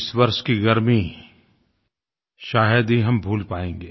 इस वर्ष की गर्मी शायद ही हम भूल पाएँगे